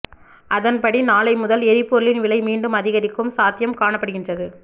அதன்படி நாளை முதல் எரிபொருளின் விலை மீண்டும் அதிகரிக்கும் சாத்தியம் காணப்படுகின்றது